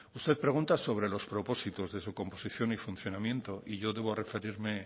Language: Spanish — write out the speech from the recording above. usted pregunta sobre los propósitos de su composición y funcionamiento y yo debo referirme